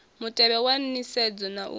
mutevhe wa nisedzo na u